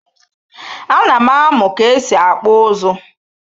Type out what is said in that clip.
A nam amu bu ka esi akpụ ụzụ.